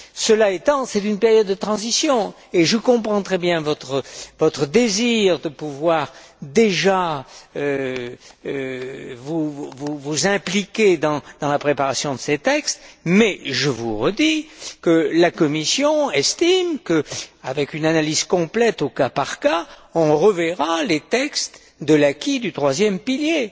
Cela étant, c'est une période de transition et je comprends très bien votre désir de pouvoir déjà vous impliquer dans la préparation de ces textes, mais je vous redis que la Commission estime que, avec une analyse complète au cas par cas, on reverra les textes de l'acquis du troisième pilier.